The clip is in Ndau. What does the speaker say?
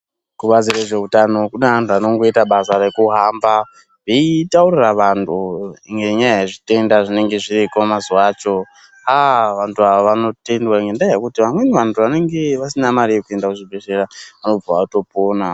Kubazi rezveutano kune vantu vanongoita basa rekuhamba veitaurira vantu ngenyaya yezvitenda zbinenge zviriko mazuwa acho, vantu ava vanotendea ngendaa yekuti vamweni vantu vanenge vasina mari yekuenda kuzvibhedhleya vanobva vatopona.